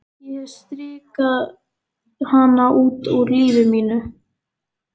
Ég hef strikað hana út úr lífi mínu.